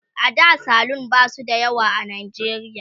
a da salon ba su da yawa a najeriya